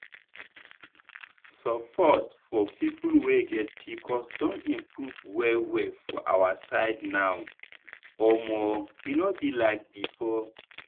support for people wey get pcos don improve well well for our side now omo e no be like before.